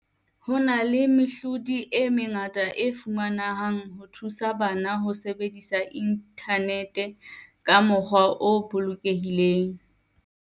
Ho na le mehlodi e mengata e fumanehang ho thusa bana ho sebedisa inthanete ka mokgwa o bolokehileng.